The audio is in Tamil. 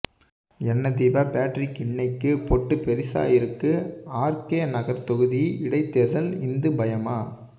என்ன தீபா பேட்ரிக் இன்னைக்கு பொட்டு பெரிசா இருக்கு ஆர் கே நகர் தொகுதி இடை தேர்தல் இந்து பயமா